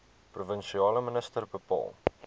provinsiale minister bepaal